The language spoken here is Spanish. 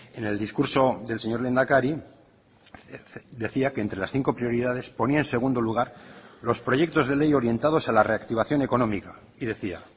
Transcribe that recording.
en el discurso del señor lehendakari decía que entre las cinco prioridades ponía en segundo lugar los proyectos de ley orientados a la reactivación económica y decía